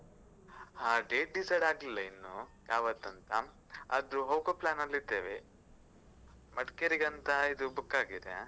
ಹಾ date decide ಆಗ್ಲಿಲ್ಲ ಇನ್ನು ಯಾವತ್ತಂತ ಅದು ಹೋಗೊ plan ಅಲ್ಲಿದ್ದೇವೆ. ಮಡ್ಕೇರಿಗಂತ ಇದು book ಆಗಿದೆ.